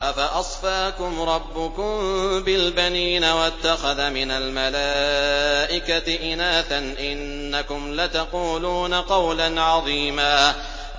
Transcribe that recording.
أَفَأَصْفَاكُمْ رَبُّكُم بِالْبَنِينَ وَاتَّخَذَ مِنَ الْمَلَائِكَةِ إِنَاثًا ۚ إِنَّكُمْ لَتَقُولُونَ قَوْلًا عَظِيمًا